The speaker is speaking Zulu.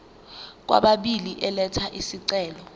kwababili elatha isicelo